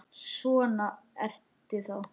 Svona ertu þá!